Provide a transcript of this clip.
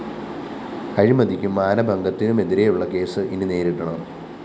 അഴിമതിക്കും മാനഭംഗത്തിനുമെതിരെയുള്ള കേസ് ഇനി നേരിടണം